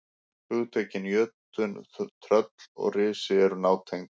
Hugtökin jötunn, tröll og risi eru nátengd.